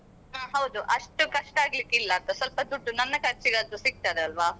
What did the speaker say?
ಹೌದು ಅಷ್ಟು ಕಷ್ಟ ಆಗಲಿಕ್ಕಿಲ್ಲ ಸ್ವಲ್ಪ ದುಡ್ಡು ನನ್ನ ಖರ್ಚಿಗೆ ಆದ್ರೂ ಸಿಕ್ತದಲ್ವಾ.